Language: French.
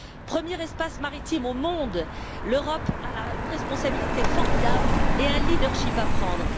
Premier espace maritime au monde, l'Europe a une responsabilité formidable et un leadership à prendre.